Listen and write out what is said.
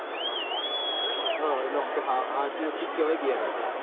હ અ હાચી વસ્તુ કેવાય યાર તો